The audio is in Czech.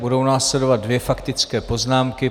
Budou následovat dvě faktické poznámky.